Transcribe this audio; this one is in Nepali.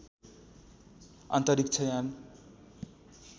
अन्तरिक्ष यान